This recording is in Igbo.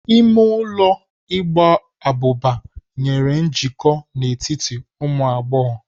Ime ụlọ igba abụba nyere njikọ n'etiti ụmụ agbọghọ.